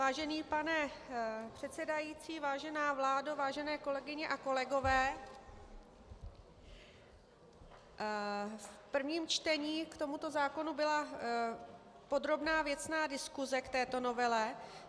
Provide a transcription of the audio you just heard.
Vážený pane předsedající, vážená vládo, vážené kolegyně a kolegové, v prvním čtení k tomuto zákonu byla podrobná věcná diskuse k této novele.